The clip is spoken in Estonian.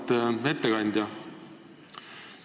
Auväärt ettekandja!